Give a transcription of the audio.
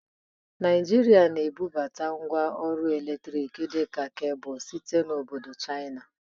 Naịjịrịa na-ebubata ngwa ọrụ eletrik dị ka kebụl site n'obodo Chaina.